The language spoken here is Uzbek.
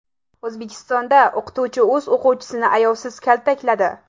O‘zbekistonda o‘qituvchi o‘z o‘quvchisini ayovsiz kaltakladi .